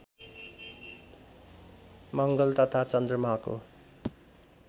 मङ्गल तथा चन्द्रमाको